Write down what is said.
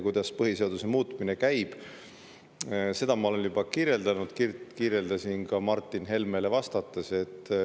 Kuidas põhiseaduse muutmine käib, seda ma olen juba kirjeldanud, kirjeldasin ka Martin Helmele vastates.